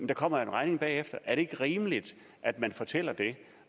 der kommer en regning bagefter er det ikke rimeligt at man fortæller det